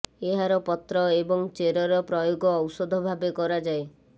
ଏହାର ପତ୍ର ଏବଂ ଚେରର ପ୍ରୟୋଗ ଔଷଧ ଭାବେ କରାଯାଏ